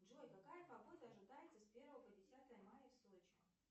джой какая погода ожидается с первого по десятое мая в сочи